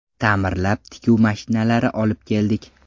Ta’mirlab, tikuv mashinalari olib keldik.